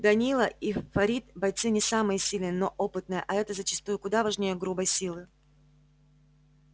данила и фарид бойцы не самые сильные но опытные а это зачастую куда важнее грубой силы